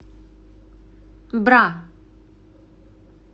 бра